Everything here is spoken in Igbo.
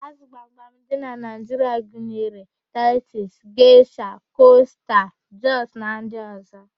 Ázụ̀ gbamgbam dị na Naịjiria gunyere: taịtus, geshia, kosta, jọst na ndị ọ̀zọ́.